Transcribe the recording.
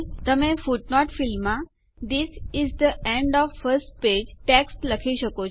તમે ફૂટનોટ ફીલ્ડમાં this is the end of first page text લખી શકો છો